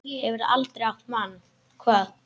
Hefurðu aldrei átt mann?